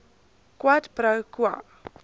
quid pro quo